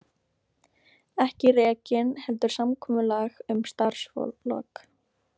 Ekki rekinn heldur samkomulag um starfslok